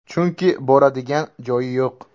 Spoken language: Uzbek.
Chunki boradigan joyi yo‘q.